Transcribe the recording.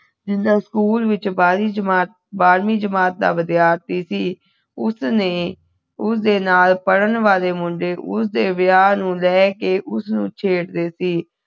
ਜਿੰਦਾ ਸਕੂਲ ਵਿਚ ਬਾਹਰਵੀਂ ਜਮਾਤ ਬਾਹਰਵੀਂ ਜਮਾਤ ਦਾ ਵਿਧਿਆਰਥੀ ਸੀ ਉਸ ਨੇ ਉਸਦੇ ਨਾਲ ਪੜ੍ਹਨ ਵਾਲੇ ਮੁੰਡੇ ਉਸਦੇ ਵਿਆਹ ਨੂੰ ਲੈਕੇ ਉਸਨੂੰ ਛੇੜਦੇ ਸੀ